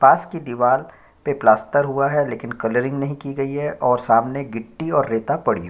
पास की दीवाल पे प्लास्टर हुआ है लेकिन कलरीन्ग नहीं की गई है और सामने गिट्टी और रेता पड़ी हुई हैं ।